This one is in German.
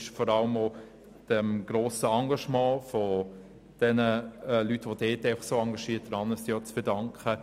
Dies ist vor allem dem Engagement der dort tätigen Leute zu verdanken.